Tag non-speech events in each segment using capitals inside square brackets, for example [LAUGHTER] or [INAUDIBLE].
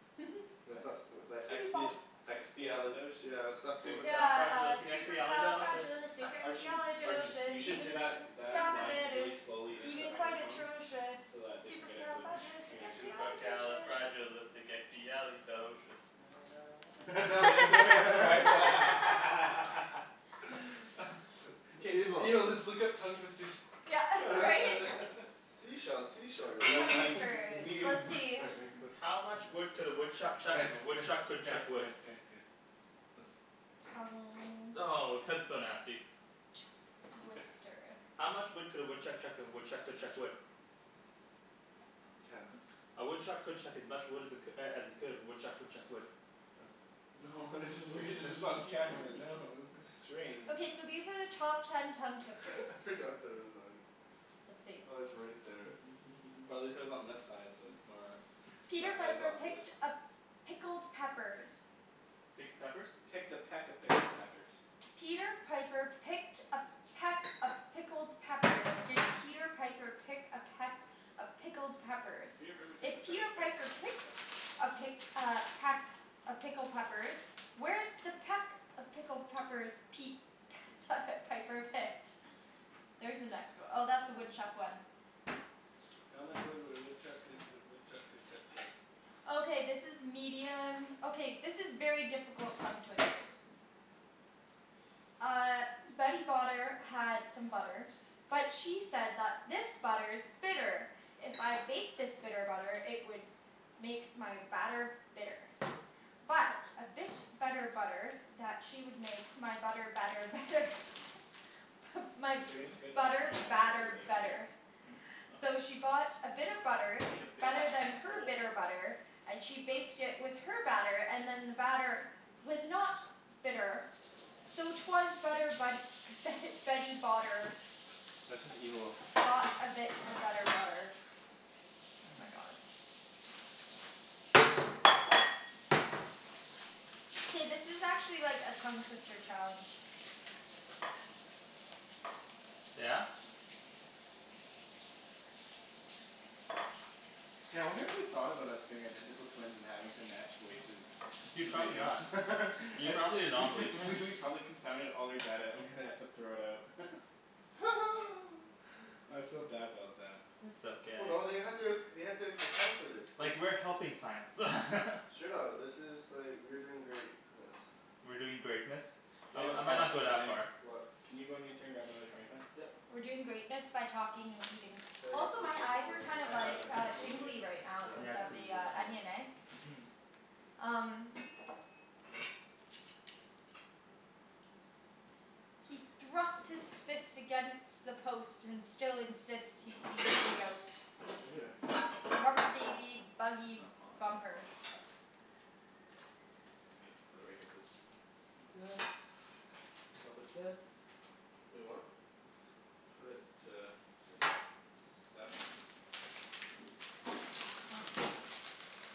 [LAUGHS] What's What? that, that expi- [NOISE] expiali- Expialidocious. yeah what's that word? Yeah uh, Supercalifragilisticexpialidocious! Arjun. Arjun. You supercalifragilisticexpialidocious, should say even though that the that sound of line it really is slowly into a even quite microphone. atrocious, So that they can get it [INAUDIBLE] supercalifragilisticexpialidocious. Supercalifragilisticexpialidocious. [LAUGHS] Now they have to transcribe [LAUGHS] [LAUGHS] [LAUGHS] [LAUGHS] Evil. Yo, let's look up tongue twisters. Yeah right? [LAUGHS] Sea shells sea shores We will down Tongue by be, the twisters. we... Let's see. Wait, wait, listen. How much wood could a woodchuck Guys chuck if a guys woodchuck guys could guys chuck wood? guys guys. Listen. Tongue Oh! That's so nasty. Twister. How much wood could a woodchuck chuck if a woodchuck could chuck wood? Ten. A woodchuck could chuck as much wood as it as he could if a woodchuck could chuck wood. Oh. No this is weird, this is on camera, no, this is strange. Okay so these are the top ten tongue twisters. [LAUGHS] I I forgot forgot that that it it was was on. on. Let's see. Oh it's right there. [LAUGHS] Probably says on this side so it's not Peter as Piper picked obvious. a pickled peppers. Picked a peppers? Picked a peck of pickled peppers. Peter Piper picked a peck of pickled peppers. Did Peter Piper pick a peck of pickled peppers, Peter Piper if picked a peck Peter of Piper pick pickled peck picked a pick peppers. uh peck of pickled peppers, where's the peck of pickled peppers Pete [LAUGHS] Piper picked? There's the next one. Oh that's the woodchuck one. How much wood would a woodchuck could if a woodchuck could chuck wood? Okay this is medium, okay this is very difficult tongue twisters. Uh Betty Botter had some butter, but she said that this butter is bitter. If I bake this bitter butter, it would make my batter bitter. But a bit of better butter that she would make my butter better better. My If you're going to get another butter frying pan I'm gonna put the batter bacon here? better. Mhm. So she bought a bit of butter, better than her bitter butter, and she baked it with her batter, and then the batter was not bitter. So it was better but Betty Botter That's just evil. Bought a bit of better butter. Oh my god. Hey this is actually like a tongue twister challenge. Yeah? K, I wonder if they've thought about us being identical twins and having to match voices Dude to the probably video. not. You're probably an anomaly. I, we we've probably confounded all their data and they have to throw it out. [LAUGHS] [LAUGHS] [NOISE] I feel bad about them. It's Well okay. no they had to, they had to account for this. This Like, is we're helping science. [LAUGHS] Straight up. This is like, we're doing greatness. We're doing greatness? I mi, Daniel, I might uh not go shit that What Daniel, far. What? can you run to grab me another frying pan? Yep. We're doing greatness by talking and eating. So yeah, Also make my sure it's eyes all are done. kind I of have like a handful of tingly bacon. right Yep. cuz of the onion eh? Mhm. Um. He thrusts his fist against the post and still insists he sees the ghost. Right here. Rubber baby buggy bumpers. [NOISE] Okay. Put it right here please. Little bit of this, little bit of this. Wait what? Put it to like, seven? Huh.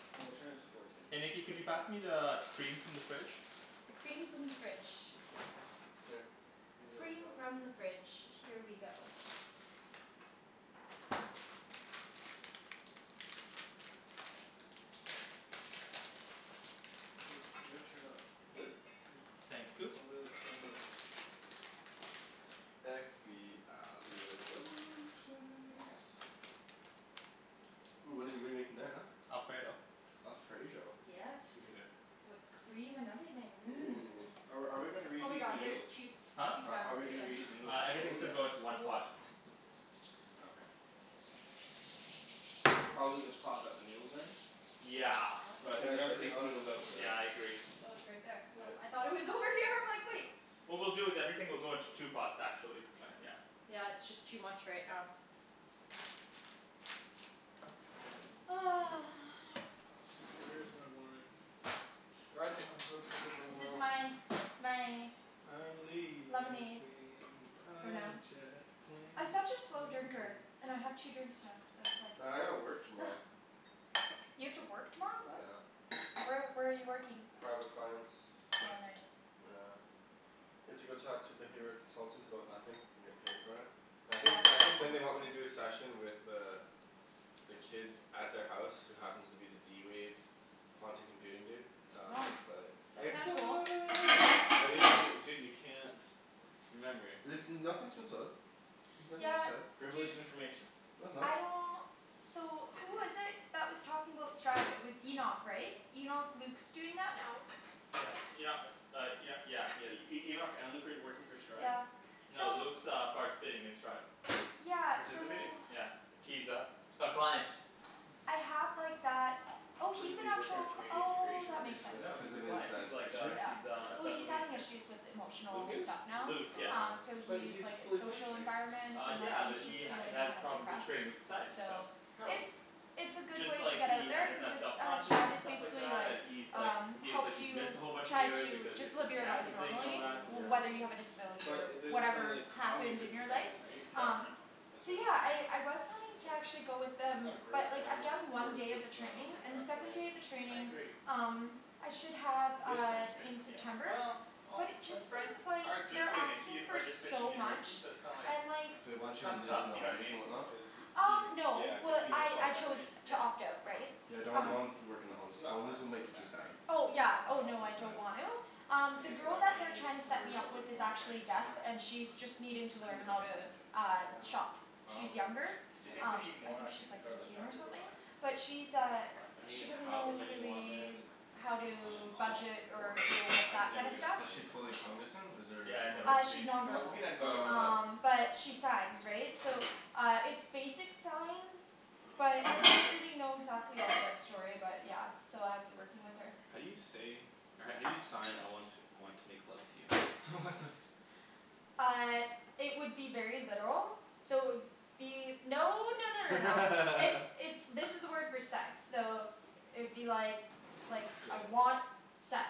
No, turn it to fourteen. Hey Nikki It's could gotta you be pass me [INAUDIBLE] the cream from the fridge? The cream from the fridge. Yes. Here. Use that for Cream from that. the fridge. Here we go. Wait, you gotta turn it up. This? Yeah, Thank you. probably like ten or eleven. Here you Expialidocious. go. Ooh what did we make in that huh? Alfredo. Alfredo? Yes. Excuse me there. With cream and everything, Ooh. mmm. Are are we gonna Oh my reheat the God there's noodles? two, Huh? two How pounds how are of we gonna bacon. reheat the noodles? Uh, Oh everything's gonna yes. go into one pot. [NOISE] Oh okay. Probably the pot that the noodles are in? Is it Yeah. hot But I think Yeah we're it's gonna there? have to already take the hot. noodles out for that. Yeah I agree. Oh it's right there. Oh I Yep. thought it was over here, I'm like wait. What we'll do is that everything will go into two pots, Okay actually. Kinda yeah. yeah. Yeah it's just too much right now. [NOISE] Where is my wine? Guys I'm [INAUDIBLE] to go to work This is tomorrow. my, my. I'm Lemonade. leaving For on now. a jet plane, I'm such a slow don't drinker. know... And I have two drinks now. So it's Well I gotta work like. tomorrow. [NOISE] You have to work tomorrow, what? Yeah. Where where are you working? Private clients. Oh nice. Yeah. You have to go talk to the behavioral consultants about nothing? And get paid for it? I think, Yeah. I think then they want me to do a session with the the kid at their house who happens to be the d-wave quantum computing dude, so Wow. it's but That's [NOISE] kind of cool. Dude, [INAUDIBLE] dude you can't... Remember. Listen, nothing's in stone. Nothing's Yeah. set. Dude. Privileged information. No it's not. I don't. So who was it that was talking about Stride, it was Enoch right? Enoch, Luke's doing that now? Yeah, Enoch, uh Enoch, yeah he is. E- E- Enoch and Luke are working for Stride? Yeah, No so. Luke's uh participating in Stride. Yeah, so. Participating? Yeah. He's a, a client. I have like that, oh What is he's an he, working at actual, Canadian oh Integration, that makes sense. Oh No cuz he's or? a of his client, he's like issue? a he Yeah. is a Well special he's needs having kid. issues with Luke emotional is? stuff now, Luke, yeah. um Oh. so But he's he's like his fully social functioning. environment Uh and yeah he's but just he feeling has kind of problems depressed, integrating with society, so. so. How? It's, it's a It's good just way to like get out he, he there doesn't cuz have it's self uh confidence Stride and is stuff like basically that, like, and he's like um he's like helps he missed you a whole bunch of try years to because of just the live your life cancer thing and all normally that, yeah. whether you have Oh. a disability or But there's no whatever like, happened cognitive in your life, impairment right? No no um no. No, it's So just, yeah okay. I I was planning It's to like. actually go with He's them, got a great but like I've family done one support day of the training system, he's and got the second day of the friends. I training agree. um I should have Real uh friends right? in Yeah. September, Well, all but it just his friends seems like are just they're going into, asking for are just finishing so much, university, so it's kinda like and like They want you to kinda live tough, in the you know what I homes mean? and whatnot? Cuz he Um no yeah cuz well he missed I all I that chose right? to Yeah. opt out right? Yeah don't, Um don't work in He the homes. he's got Homes plans will to go make you too back right? sad. Oh I yeah don't oh So know. no I sad. don't want to. Um I the guess at girl that that point they're you're just trying to set worried me about up with living is life, hey? actually deaf, and Yeah. she's just needing I to couldn't learn even how to imagine. um I know. shop. Oh. She's younger, Like... Do you think we um need I more think she's onions and like garlic? No eighteen I or think we're something. fine. But she's I think uh, we're fine. I mean she doesn't however know many you want man. really how Um, I'm to all Is budget for or deal it. with I can that never kinda get enough stuff. Is she onion or fully garlic. cognizant? Is there, Yeah I know or what Uh, you she's mean. non You know, we verbal. can add garlic Oh salt. okay. Um but she signs, right? So uh it's basic sign, but, I don't really know exactly all the story about it, yeah. So I'd be working with her. How do you say, how do you sign I want want to make love to you? [LAUGHS] What the Uh it would be very literal, so it would be... No no no no no. It's, [LAUGHS] it's, this is the word for sex. So it would be like like, Yeah. I want sex.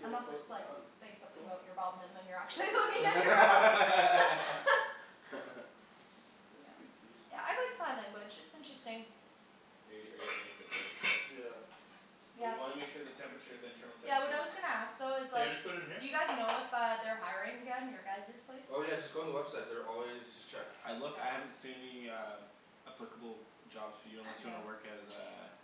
Unless it's like, saying something Cool. about your bum and then you're Take a actually piece looking at out. your bum. [LAUGHS] [LAUGHS] Nice Yeah. big piece. Yeah I like sign language, it's interesting. Hey, are you seeing if it's already cooked? Yeah. But we Yeah. wanna make sure the temperature, the internal Yeah what temperature I is... was gonna ask though is So I like, just put it in here? do you guys know if uh they're hiring again? Your guys' place? Oh yeah just go on the website. They're always, just check. I look, I haven't Okay. seen uh any applicable jobs for you unless you want to work as Okay. a,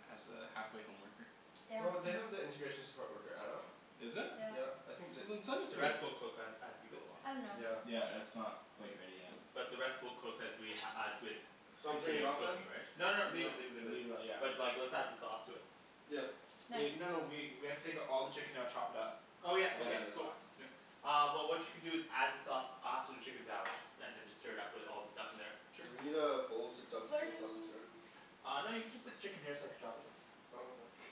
as a halfway home worker. Yeah. No, they have the integration support worker adult. Is it? Yeah. Yeah. I think You that... didn't send it The to me. rest we'll cook as as we go along. I don't know. Yeah. Yeah it's not quite ready yet. But the rest we'll cook as we as with So I'm turning it continue off then? cooking right? No No, no, leave it leave it leave it. leave it yeah. But like let's add the sauce to it. Yeah. Nice. Wait, no no we we have to take all the chicken out, chop it up, Oh yeah. and then Okay. add the Cool. sauce. Uh well what you can do is add the sauce after the chicken's out, and then just stir it up with all the stuff in there. Sure, we need a bowl to dump the chicken sauce into Flirting. here. Uh no you can just put the chicken here so I could chop it. Oh okay.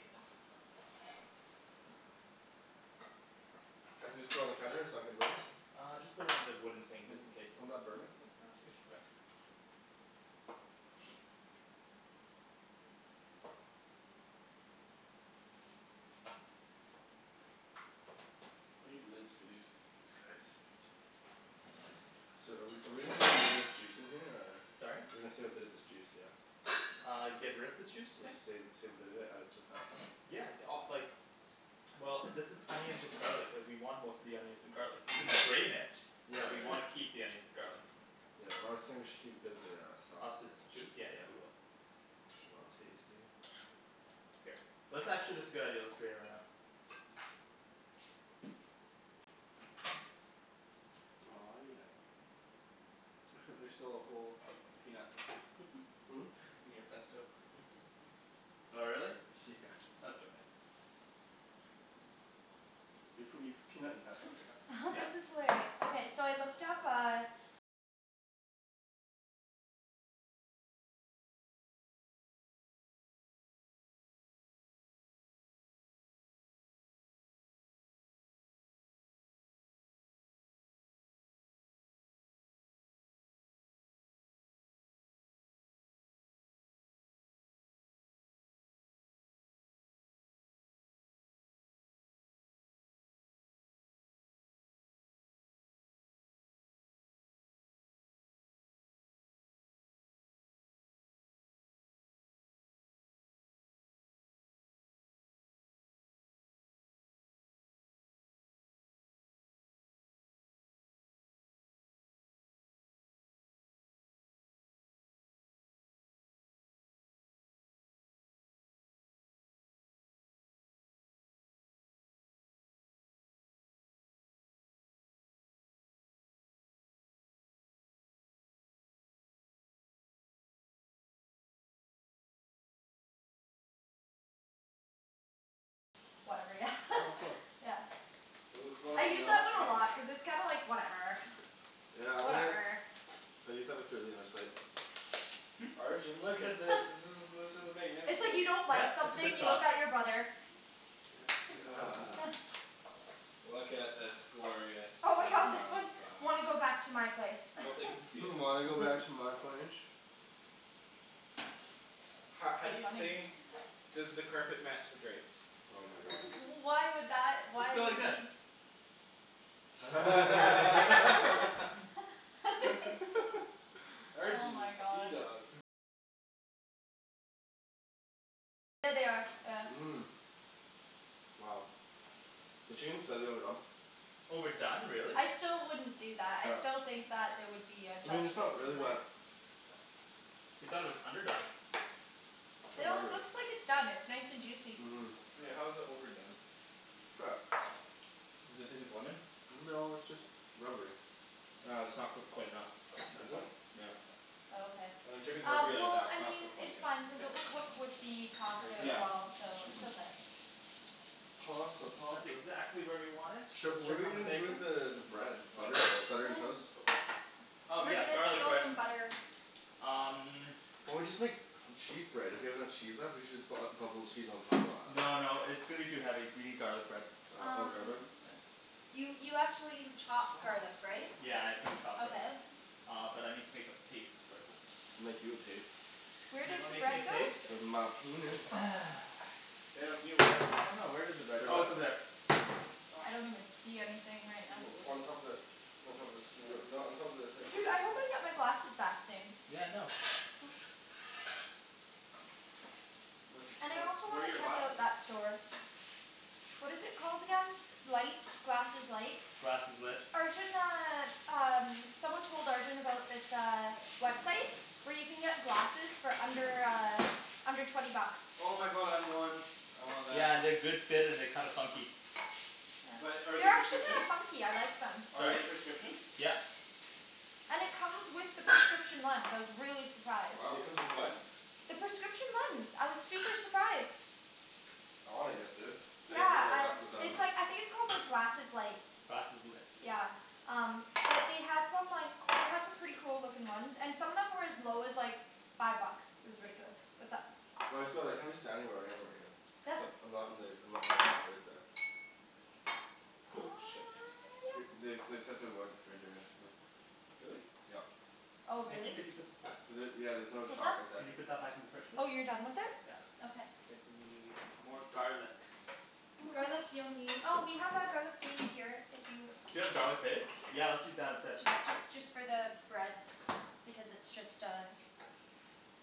I can just put it on the counter? It's not gonna burn it? Uh just put it on the wooden thing Would, just in case. wouldn't that burn it? No, I think it should be fine. I need the lids for these, these guys. So are we are we gonna save a little bit of this juice in here, or? Sorry? We're gonna save a bit of this juice, yeah? Uh, get rid of this juice you're saying? Save, save a bit of it, add it to the pasta? Yeah, d- uh like Well, this is onions and garlic. Like, we want most of the onions and garlic. We can strain it. Yeah But we yeah. wanna keep the onions and garlic. Yeah, well I was saying we should keep a bit of the uh, Of sauce, this yeah. juice? Yeah yeah we will. I'll taste it. Here. Let's actually, that's a good idea. Let's drain it right now. Aw, yeah. [LAUGHS] There's still a whole peanut. [LAUGHS] Hmm? In your pesto. [LAUGHS] Oh really? Yeah. That's okay. Do you put, you put peanut in pesto? [LAUGHS] This Yep. is hilarious. Okay, so I looked up, uh Whatever. Yeah Oh cool. [LAUGHS] Yeah. Ooh, it's going I all use that one a melty. lot, cuz it's kind of like, whatever Yeah, I'm gonna I use that with Darlene, I was like Hmm? Arjan, look at this. This [LAUGHS] is this is It's like, magnificent. you don't like Yep, it's a something, good you sauce. look at your brother. Yeah [NOISE] [NOISE] Look at this glorious Oh my god, this parmesan one, sauce. "Wanna go back to my place?" [LAUGHS] "Hmm, Wanna go back to my place?" Ho- how do It's you say funny. "Does the carpet match the drapes?" Oh my god. Why would that, Just why go like would you this. need t- [LAUGHS] [LAUGHS] [LAUGHS] [LAUGHS] Oh Arjan, you my god. seadog. Mmm. Wow. The team said they were done. Oh we're done, really? I still wouldn't do that. I Yep. still think that there would be a I mean it's judgment not really, in there. but You thought it was underdone. How No, it lovely. looks like it's done. It's nice and juicy. Mmm. Wait, how is it overdone? Try it. Does it taste like lemon? No it's just rubbery. Ah, it's not cooked quite enough. That's Is it? fine. Yeah. Oh okay. Uh, when chicken's Uh, rubbery like well, that, it's I not mean cooked quite it's yet. fine, cuz it K. will cook with the There pasta you go. as well, so Mhm. it's okay. Pasta, That's pasta. exactly where we want it. Sh- Let's what are check we on the gonna do bacon. with the the Nah. bread? Not even Butter? close. Butter and toast? Cool. Oh We're yeah, gonna garlic steal bread. some butter. Um Or we just make cheese bread? If we have enough cheese left, we should just bu- uh bubble cheese on top of that. No no, it's gonna be too heavy. We need garlic bread. Uh oh the garlic bread? Um Here. You you actually have chopped Stop. garlic right? Yeah, I've gotta chop that. Okay. Uh, but I need to make a paste first. I'll make you a paste. Where Do you did wanna the make me a bread go? paste? With my penis. [NOISE] I [INAUDIBLE] don't know, where did the bread, oh it's over there. I [NOISE] don't even see anything right Can you now. hold On top this? of the On top of this. Yo, no, on top of the, here. Dude, I hope I get my glasses back soon. Yeah I know. What's, And I what's, also where are wanna your check out glasses? that store. What is it called again? S- light, glasses light? Glasseslit. Arjan uh, um, someone told Arjan about this uh, website where you can get glasses for under, uh under twenty bucks. Oh my god, I want. I want that. Yeah, they're good fit and they're kinda funky. But are they They're actually kinda prescription? funky, I like them. Are Sorry? they prescription? Yep. And it comes with the prescription lens. I was really surprised. Wow. It comes with what? The prescription lens, I was super surprised. I wanna get this. I need to get Yeah, my I, glasses done. it's like, I think it's called like glasses light. Glasseslit. Yeah. Um, but they had some like, they had some pretty cool looking ones, and some of them were as low as, like five bucks. It was ridiculous. What's up? Well I just feel like, I'm just standing where I am right here. [NOISE] I'm not in the, I'm not in the spot right there. Cool. Shit. Th- [NOISE] Yep. they they said to avoid the fridge area, yeah. Really? Yep. Oh Nikki really? could you put this back? Was it, yeah there's another What's shot up? right Could there. you put that back in the fridge please? Oh you're done with it? Yeah. Okay. I think we need more garlic. [NOISE] Garlic you'll nee- oh we have our garlic paste here, if you Do you have garlic paste? Yeah let's use that instead. Just just just for the bread. Because it's just uh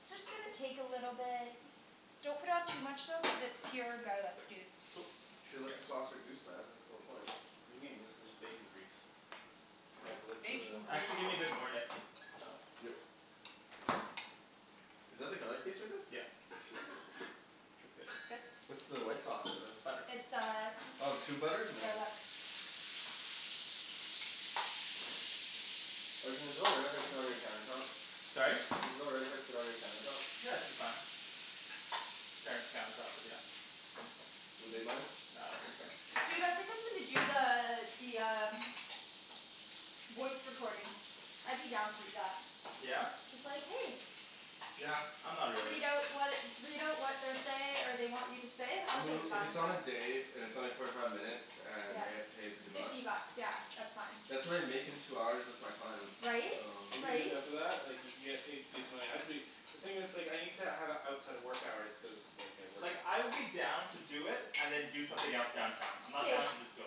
it's just gonna take a little bit. Don't put on too much though cuz it's pure garlic, dude. Cool. You should let the sauce reduce man, that's the whole point. What do you mean? This is bacon grease. Can I It's have the lid to the bacon grease. Actually give me a bit more, Nikks. [NOISE] Yep. Is that the garlic paste right there? Yeah. Shit. That's good. Good. What's the white sauce in there? Butter. It's uh Oh tube butter? Nice. garlic. Arjan is it all right if I sit on your countertop? Sorry? Is it alright if I sit on your countertop? Yeah, it should be fine. Parents' countertop, but yeah. Would they mind? Nah, I don't think so. Dude, I think I'm gonna do the, the um voice recording. I'd be down to do that. Yeah? Just like "Hey!" Yeah. I'm not really. Read out what, read out what they're say, or they want you to say. I I'm mean totally if fine it's with on that. a day, and it's only forty five minutes, and Yeah. I get paid fifty bucks? Fifty bucks. Yeah. That's fine. That's what I make in two hours with my clients. Right? If you get Right? enough of that, like you can get paid decent money. I'd be The thing is like, I need to have it outside of work hours, cuz like I work. Like I would be down to do it and then do something else downtown. I'm not down K. to just go.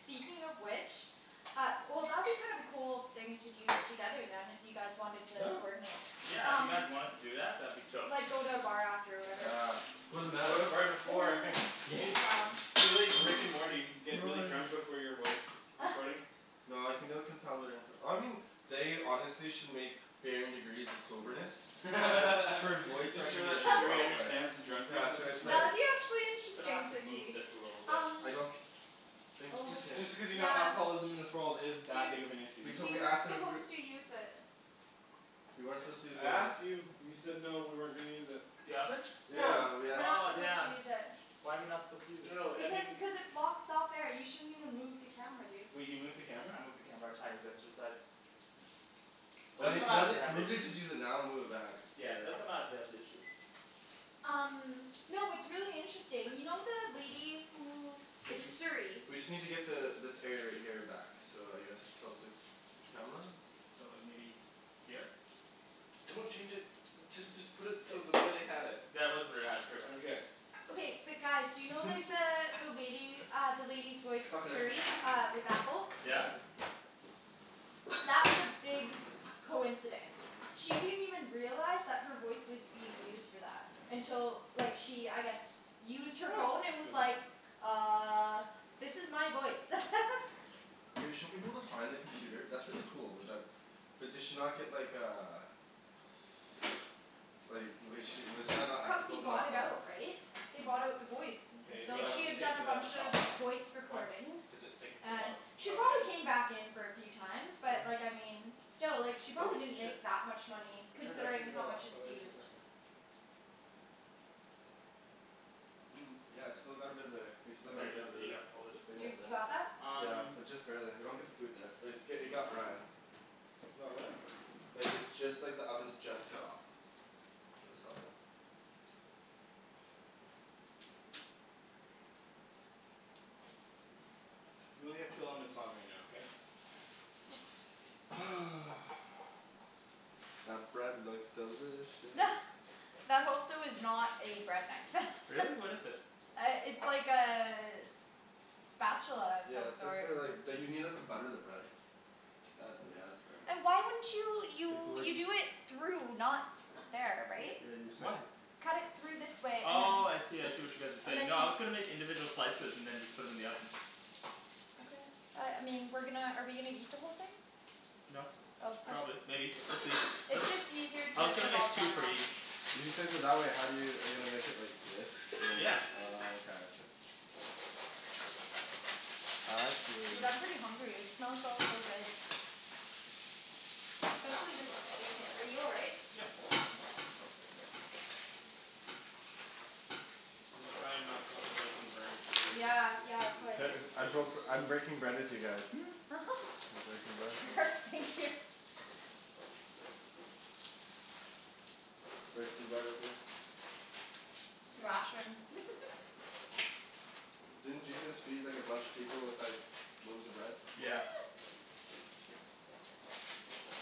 Speaking of which Uh, well that'd be kind of a cool thing to do together then, if you guys wanted Yeah. to coordinate. Yeah, if you guys wanted to do that, that'd be chill. Like go to a bar after or whatever. Ah. [LAUGHS] Go to the bar before. [LAUGHS] [NOISE] Yeah. Big lounge. Be like Rick and Morty. Get really drunk [INAUDIBLE] before your voice recordings. [LAUGHS] No, I think that would confound their infor- I mean they honestly should make varying degrees of soberness for [LAUGHS] voice Make sure that recognition Siri [LAUGHS] software. understands the Yeah, drunkards of so this it's like Yeah, world. it'd be actually Gonna have interesting to so move see, this a little bit. um I don't think you Oh Just can. just because you know Yeah. alcoholism in this world is that Dude big of an issue. We'd we totally ask weren't them if we supposed to use it. We weren't What? supposed to use I the oven. asked you. You said no, we weren't gonna use it. The oven? Yeah. Yeah. We're not Oh supposed to damn. use it. Why are we not supposed to use it? No I Because mean cuz it's blocks out there, you shouldn't even move the camera dude. Wait, you moved the camera? I moved the camera a tiny bit to the side. Well They'll come maybe, out let if they it, have an maybe issue. just use it now and move it back, it's Yeah good. they'll come out if they have an issue. Um Y'know what's really interesting, you know the lady who Did is you, Siri. we just need to get the, this area right here back. So I guess tilt the camera? So like maybe Here? Don't change it. Just just put it to the way they had it. That was where they had it, pretty much. Okay but guys, do you know like the, [LAUGHS] the lady, uh the lady's voice Cutlery. Siri uh with Apple? Yeah? That was a big coincidence. She didn't even realize that her voice was being used for that. Until like she, I guess used her phone and [NOISE] was Good enough. like "Uh." "This is my voice." [LAUGHS] Hey, shouldn't we be able to find the computer, that's really cool, with that But did she not get like, uh Like was she, wasn't that not ethical Company to not bought it tell her? out, right? They bought out the voice. K, we So have she to had Oh. take done a the bunch of sauce off. voice Why? recordings. Cuz it's sticking to the And bottom. she Oh okay. probably came back in for a few times, but like I mean still like she Oh probably didn't shit. make that much money I turned it, I turned considering it how all off. much How it's do I turn used. this on? I mean, yeah it's still got a bit of there, we still got a bit of the [INAUDIBLE] You, you got that? Um Just barely. They don't get the food there. But it's, i- it got Ryan. It got what? Like, it's just like the oven's just cut off. So it's all good. We only have two elements on right now, okay? [NOISE] That bread looks delicious. [LAUGHS] That also is not a bread knife. [LAUGHS] Really? What is it? Uh, it's like a spatula of some Yeah it's like sort. for like, d- you need that to butter the bread. That's it, you have to burn that. Why wouldn't you, Like you, like you do it through, not there, right? Yeah you Why? slice it Cut it through this way, and then Oh, I see, I see what you guys are and saying. then No I was gonna make individual slices and then just put 'em in the oven. Okay. Uh, I mean, we're gonna, are we gonna eat the whole thing? No. Probably. [INAUDIBLE] Maybe. We'll see. It's It's just easier I to was gonna put make all the two butter for on. each. If you slice it that way, how do you, are you gonna make it like this? And then, Yeah. oh okay. Uh I Dude, see. I'm pretty hungry, it smells so so good. Especially this bacon. Are you all right? Yep. I'm just trying not to let the bacon burn too. Yeah, yeah, of These course nice [NOISE] I dishes. broke, I'm breaking bread with you guys. [NOISE] [LAUGHS] Breaking bread. [LAUGHS] Thank you. Break some bread with me. [INAUDIBLE] [LAUGHS] Didn't Jesus feed like a bunch of people with like loaves of bread? Yeah. [NOISE]